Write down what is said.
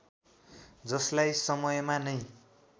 जसलाई समयमा नै